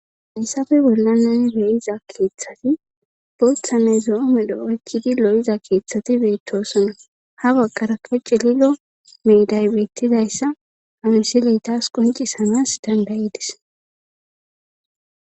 ayssafe bollani nuni be'iza keeththati bothanne zo'o medho oykkidi lo'iza keeththati beettosona ha baggara ko celilo miiday beettidayssa hamiseley taas qoncisanas danda'idis